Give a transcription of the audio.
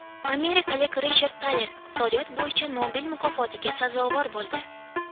Amerikalik Richard Taler iqtisodiyot bo‘yicha Nobel mukofotiga sazovor bo‘ldi.